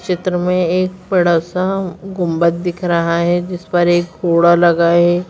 चित्र में एक बड़ा सा गुम्बद दिख रहा है जिस पर एक घोड़ा लगा है।